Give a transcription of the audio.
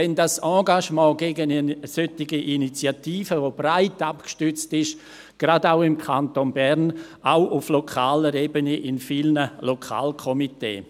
Weshalb dieses Engagement gegen eine solche Initiative, die breit abgestützt ist, gerade auch im Kanton Bern, auch auf lokaler Ebene in vielen Lokalkomitees?